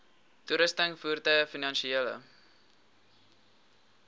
toerusting voertuie finansiële